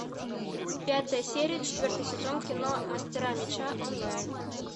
пятая серия четвертый сезон кино мастера меча онлайн